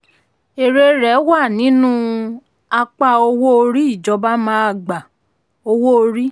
èrè rẹ̀ wà nínú apá owó orí ìjọba máa gba owó orí.